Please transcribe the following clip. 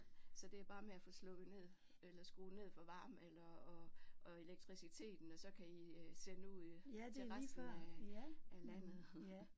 Så det er bare med at få slukket ned eller skrue ned for varmen eller og og elektriciteten og så kan I øh sende ud til resten af af landet